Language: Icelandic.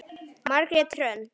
Margrét Hrönn.